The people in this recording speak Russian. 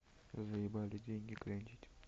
заебали деньги клянчить